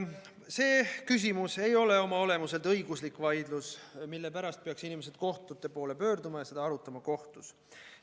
See küsimus ei ole oma olemuselt õiguslik vaidlus, mille pärast peaksid inimesed kohtute poole pöörduma ja seda kohtus arutama.